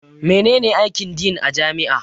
Mene ne aikin Din a jami'a?